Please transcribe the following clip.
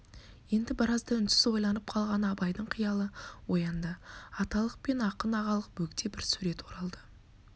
енді біразда үнсіз ойланып қалған абайдың қиялы оянды аталық пен ақын ағалық бөгде бір сурет оралды